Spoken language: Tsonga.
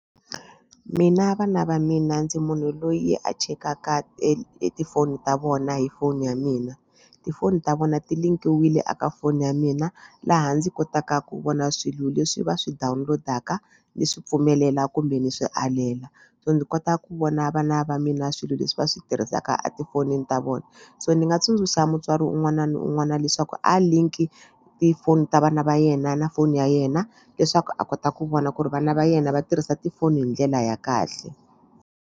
Mina vana va mina ndzi munhu loyi a chekaka tifoni ta vona hi foni ya mina tifoni ta vona ti link-iwile eka foni ya mina laha ndzi kotaka ku vona swilo leswi va swi download-aka ni swi pfumelela kumbe ni swi alela so ndzi kota ku vona vana va mina swilo leswi va swi tirhisaka etifonini ta vona so ni nga tsundzuxa mutswari un'wana na un'wana leswaku a link-i tifoni ta vana va yena na foni ya yena leswaku a kota ku vona ku ri vana va yena va tirhisa tifoni hi ndlela ya kahle.